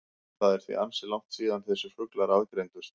Það er því ansi langt síðan þessir fuglar aðgreindust.